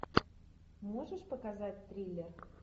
можешь показать триллер